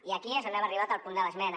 i aquí és on hem arribat al punt de l’esmena